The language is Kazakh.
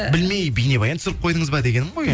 білмей бейнебаян түсіріп қойдыңыз ба дегенім ғой